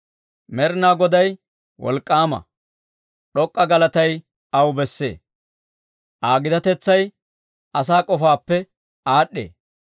Med'inaa Goday wolk'k'aama; d'ok'k'a galatay aw bessee. Aa gitatetsay asaa k'ofaappe aad'd'ee.